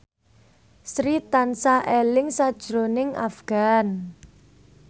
Sri tansah eling sakjroning Afgan